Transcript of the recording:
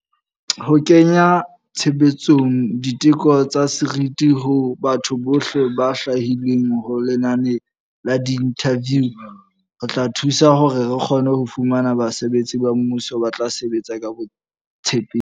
Ho kenya tshebetsong di teko tsa seriti ho batho bohle ba hlwahilweng ho lenane la diinthaviu ho tla thusa hore re kgone ho fumana basebetsi ba mmuso ba tla sebetsa ka botshepehi.